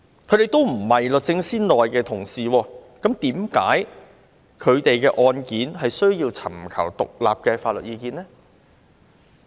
他們都不是律政司內的同事，為甚麼他們的案件卻需要尋求獨立法律意見呢？